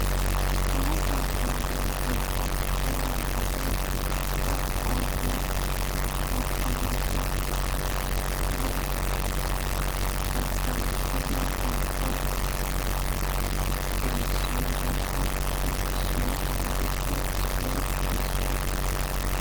Kawo hagaazzaa oosuwa koyiya asay ba oosuwa oottanaassi ba oottanawu koyiyo oosuwa erissiyo woykko qonccissiyo ogetuppe issoy erissuwa.